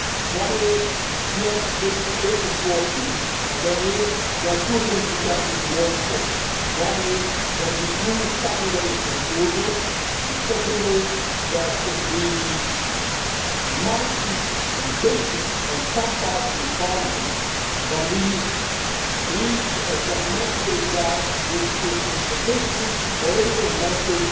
One is, yes ambition is important, but there are two things which are even more important one is that we do something that is not doable, and the second is that we might be ambitious in some parts of this Parliament, but we reach a fragmented result which sends an inadequate political message